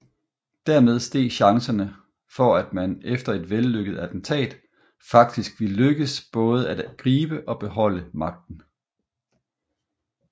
Dermed steg chancerne for at man efter et vellykket attentat faktisk ville lykkes både at gribe og beholde magten